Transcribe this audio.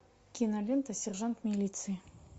кинолента сержант милиции